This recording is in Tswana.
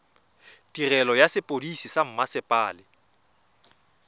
tirelo ya sepodisi sa mmasepala